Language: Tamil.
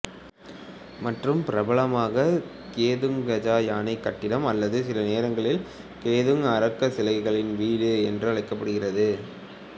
மற்றும் பிரபலமாக கெதுங் கஜா யானைக் கட்டிடம் அல்லது சில நேரங்களில் கெதுங் அர்கா சிலைகளின் வீடு என்றும் அழைக்கப்படுகிறது